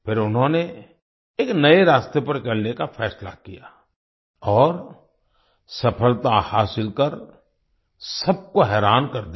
फिर उन्होंने एक नए रास्ते पर चलने का फैसला किया और सफलता हासिल कर सबको हैरान कर दिया